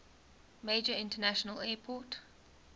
major international airport